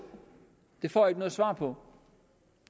det får jeg ikke noget svar på